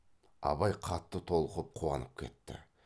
абай қатты толқып қуанып кетті